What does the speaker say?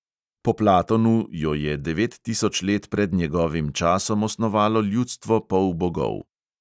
Po platonu jo je devet tisoč let pred njegovim časom osnovalo ljudstvo polbogov.